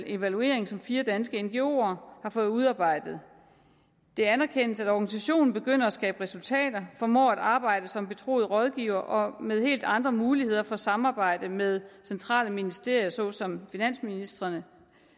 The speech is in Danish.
evaluering som fire danske ngoer har fået udarbejdet det anerkendes at organisationen begynder at skabe resultater formår at arbejde som betroet rådgiver og med helt andre muligheder for samarbejde med centrale ministerier såsom finansministerierne